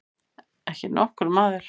Ekki nokkur maður.